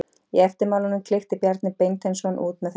Í eftirmálanum klykkti Bjarni Beinteinsson út með þessum orðum